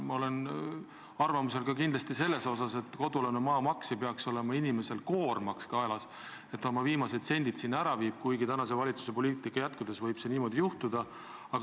Ma olen ka arvamusel, et kodualuse maa maks ei peaks olema inimesele koormaks kaelas, et ta oma viimased sendid selleks peab ära maksma, kuigi tänase valitsuse poliitika jätkudes võib see niimoodi juhtuda.